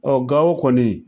Ɔɔ Gawo kɔni.